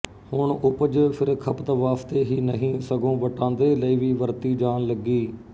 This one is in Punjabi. ਹੁਣ ਉਪਜ ਫਿਰ ਖਪਤ ਵਾਸਤੇ ਹੀ ਨਹੀਂ ਸਗੋਂ ਵਟਾਂਦਰੇ ਲਈ ਵੀ ਵਰਤੀ ਜਾਣ ਲੱਗੀ